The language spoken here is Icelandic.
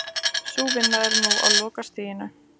Sú vinna er nú á lokastigi